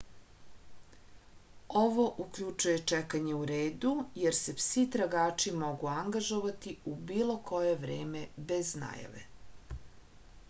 ovo uključuje čekanje u redu jer se psi tragači mogu angažovati u bilo koje vreme bez najave